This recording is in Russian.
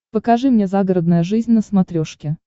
покажи мне загородная жизнь на смотрешке